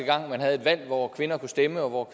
valg hvor kvinderne kunne stemme og hvor